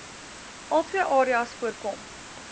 altwee areas voorkom